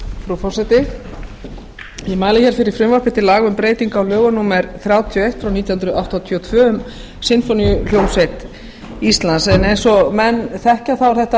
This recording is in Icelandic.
frú forseti ég mæli hér fyrir frumvarpi til laga um breytingu á lögum númer þrjátíu og eitt nítján hundruð áttatíu og tvö um sinfóníuhljómsveit íslands eins og menn þekkja er þetta